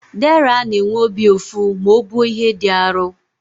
Deraa na-enwe obi ụfụ ma o buo ihe dị arụ.